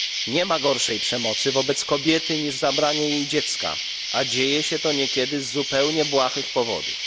Nie ma gorszej przemocy wobec kobiety niż zabranie jej dziecka, a dzieje się to niekiedy z zupełnie błahych powodów.